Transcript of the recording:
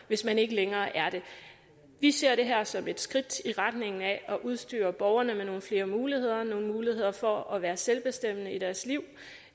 hvis man ikke længere er det vi ser det her som et skridt i retningen af at udstyre borgerne med nogle flere muligheder nogle muligheder for at være selvbestemmende i deres liv